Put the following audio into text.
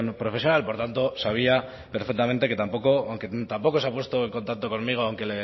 profesional por lo tanto sabía perfectamente que aunque tampoco se ha puesto en contacto conmigo aunque